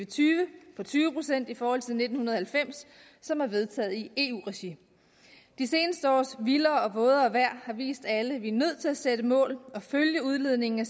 tyve på tyve procent i forhold til nitten halvfems som er vedtaget i eu regi de seneste års vildere og vådere vejr har vist alle at vi er nødt til at sætte mål og følge udledningen af